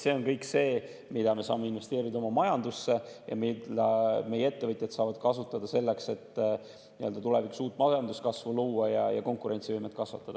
See on kõik raha, mille me saame investeerida oma majandusse ja mida meie ettevõtjad saavad kasutada selleks, et tulevikus uut majanduskasvu luua ja konkurentsivõimet kasvatada.